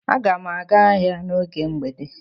Aga m aga ahịa n’oge mgbede.